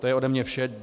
To je ode mne vše.